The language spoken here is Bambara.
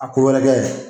A ko wɛrɛ kɛ ye